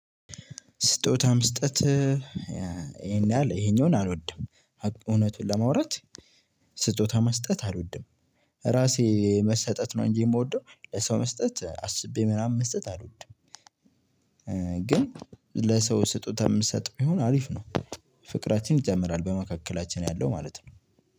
ስጦታ መስጠት ይሄን ያህል ይሄኛው አልወድም እውነቱን ለማውራት ስጦታ መስጠት አልወድም። ራሴ መሰጠት ነው እንጂ ምወደው ለሰው መስጠት አስቤ ምናምን መስጠት አልወድም። ግን ለሰው ስጦታ ምሰጠ ቢሆን አሪፍ ነው። ፍቅራችንን ይጨምራል በመካከላችን ያለው ማለት ነው።